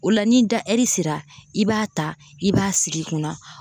O la n'i da ɛri sera i b'a ta i b'a sigi i kunna